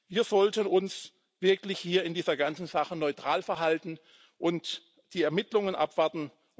Wir sollten uns wirklich hier in dieser ganzen Sache neutral verhalten und die Ermittlungen abwarten.